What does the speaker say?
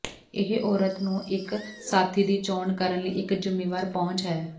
ਇਹ ਔਰਤ ਨੂੰ ਇੱਕ ਸਾਥੀ ਦੀ ਚੋਣ ਕਰਨ ਲਈ ਇੱਕ ਜ਼ਿੰਮੇਵਾਰ ਪਹੁੰਚ ਹੈ